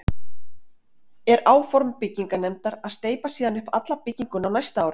Er áform byggingarnefndar að steypa síðan upp alla bygginguna á næsta ári.